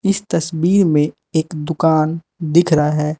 इस तस्वीर में एक दुकान दिख रहा है।